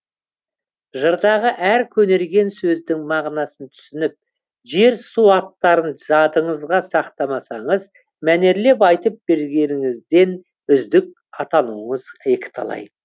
жырдағы әр көнерген сөздің мағынасын түсініп жер су аттарын жадыңызға сақтамасаңыз мәнерлеп айтып бергеніңізден үздік атануыңыз екіталай